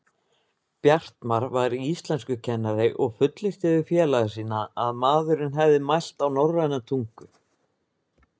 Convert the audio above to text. Bjartmar var íslenskukennari og fullyrti við félaga sína að maðurinn hefði mælt á norræna tungu.